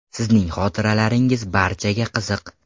Sizning xotiralaringiz barchaga qiziq.